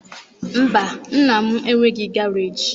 Mba, nna m enweghị garaajị.